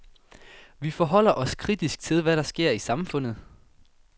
Vi forholder os kritisk til, hvad der sker i samfundet.